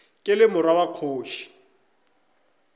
ke le morwa wa kgoši